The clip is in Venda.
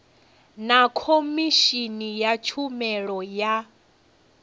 na khomishini ya tshumelo ya